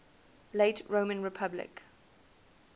late roman republic